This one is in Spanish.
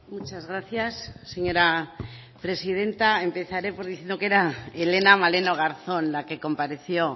muchas gracias señora presidenta empezaré pues diciendo que era helena maleno garzón la que compareció